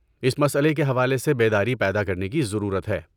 اس مسئلے کے حوالے سے بیداری پیدا کرنے کی ضرورت ہے۔